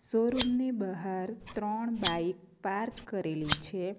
Showroom ની બહાર ત્રણ બાઇક પાર્ક કરેલી છે.